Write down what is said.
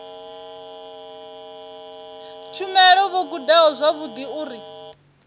tshumelo vho gudaho zwavhudi uri